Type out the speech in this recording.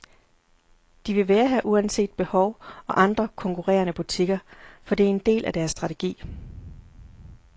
De vil være her uanset behov og andre konkurrerende butikker, for det er en del af deres strategi.